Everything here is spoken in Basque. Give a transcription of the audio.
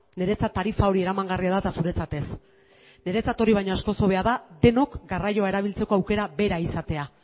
niretzat tarifa hori eramangarria da eta zuretzat ez niretzat hori baino askoz hobea da denok garraioa erabiltzeko aukera bera izatea